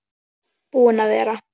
Búinn að vera.